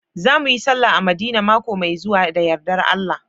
Za mu yi sallah a madina maƙo mai zuwa da yarɗar Allah